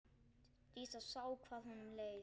Dísa sá hvað honum leið.